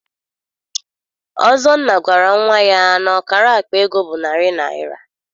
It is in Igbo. Ọzọnna gwara nnwa ya na akara akpa ego bụ narị naịra.